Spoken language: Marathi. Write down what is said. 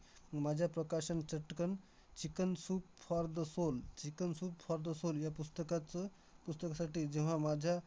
माझ्या प्रकाशन चटकन chicken soup for the soul chicken soup for the soul या पुस्तकाचं पुस्तकासाठी जेव्हा माझ्या